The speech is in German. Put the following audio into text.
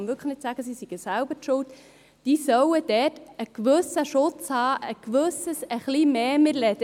man kann nicht sagen, sie seien selbst schuld –, einen gewissen Schutz, ein bisschen mehr Schutz, geniessen sollen.